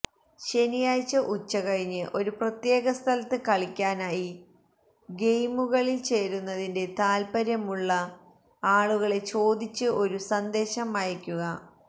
ശനിയാഴ്ച ഉച്ചകഴിഞ്ഞ് ഒരു പ്രത്യേക സ്ഥലത്ത് കളിക്കാനായി ഗെയിമുകളിൽ ചേരുന്നതിൽ താൽപ്പര്യമുള്ള ആളുകളെ ചോദിച്ച് ഒരു സന്ദേശം അയയ്ക്കുക